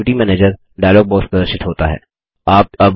activity manager dialog box प्रदर्शित होता है